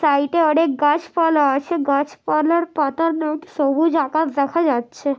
Side এ অনেক গাছপালা আছে। গাছপালার পাতা নড়ছে সবুজ আকাশ দেখা যাচ্ছে।